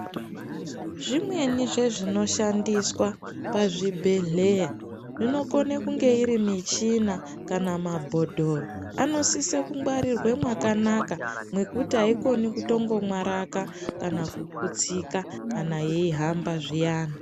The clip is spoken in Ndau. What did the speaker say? Zvimweni zvezvinoshandiswa pazvibhedhleya zvinokone kunge iri michina kana mabhodhoro anosiswe kungwarirwe mwakanaka mwekuti aikoni kutombomwaraka kana kuputsika kana yeihamba zviyana.